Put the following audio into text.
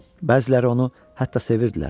Bəziləri onu hətta sevirdilər.